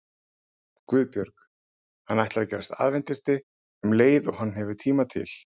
GUÐBJÖRG: Hann ætlar að gerast aðventisti um leið og hann hefur tíma til.